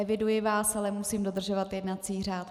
Eviduji vás, ale musím dodržovat jednací řád.